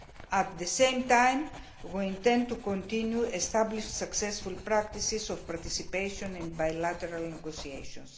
At the same time, we intend to continue established successful practices of participation in bilateral negotiations.